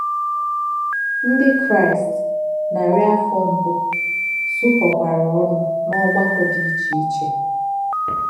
Ndí̄ Kráịst nàrí̄ áfọ̀ mbụ́ zù̄kọ́kwarā ònù̄ n’ọ̀gbà̄kọ̀ dị̄ íchì̄è̄ íchì̄è̄.